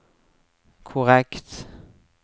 korrekt